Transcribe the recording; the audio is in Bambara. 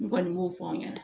N kɔni m'o fɔ aw ɲɛna